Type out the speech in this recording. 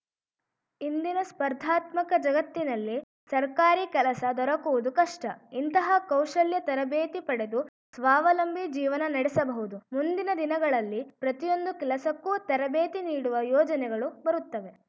ಇಂದಿನ ಸ್ಪರ್ಧಾತ್ಮಕ ಜಗತ್ತಿನಲ್ಲಿ ಸರ್ಕಾರಿ ಕೆಲಸ ದೊರಕುವುದು ಕಷ್ಟ ಇಂತಹ ಕೌಶಲ್ಯ ತರಬೇತಿ ಪಡೆದು ಸ್ವಾವಲಂಬಿ ಜೀವನ ನಡೆಸಬಹುದು ಮುಂದಿನ ದಿನಗಳಲ್ಲಿ ಪ್ರತಿಯೊಂದು ಕೆಲಸಕ್ಕೂ ತರಬೇತಿ ನೀಡುವ ಯೋಜನೆಗಳು ಬರುತ್ತವೆ